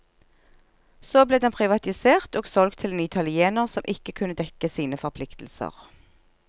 Så ble den privatisert og solgt til en italiener som ikke kunne dekke sine forpliktelser.